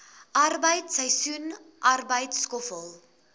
arbeid seisoensarbeid skoffel